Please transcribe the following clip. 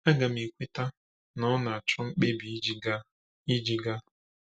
Aga m ekweta, na, ọ na-achọ mkpebi iji gaa. iji gaa.